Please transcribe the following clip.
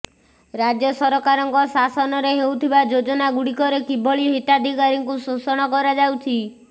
ରାଜ୍ୟ ସରକାରଙ୍କ ଶାସନରେ ହେଉଥିବା ଯୋଜନା ଗୁଡିକରେ କିଭଳି ହିତାଧିକାରୀଙ୍କୁ ଶୋଷଣ କରାଯାଉଛି